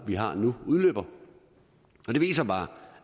vi har nu udløber det viser bare